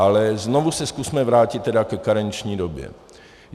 Ale znovu se zkusme vrátit tedy ke karenční době.